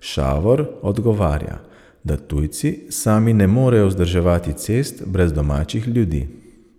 Šavor odgovarja, da tujci sami ne morejo vzdrževati cest brez domačih ljudi.